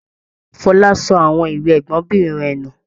Fọlá sọ àwọn ìwé ẹgbọnbìnrin rẹ̀ nù.